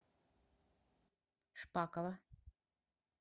шпакова